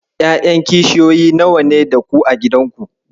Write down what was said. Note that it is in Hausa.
Ƴaƴan kishiyoyi nawa ne da ku a gidanku?